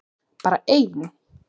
Bara ein!